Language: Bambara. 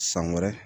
San wɛrɛ